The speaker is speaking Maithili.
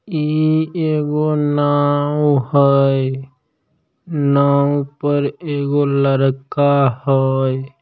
ई एगो नाव हई। नाव पर एगो लड़का हई।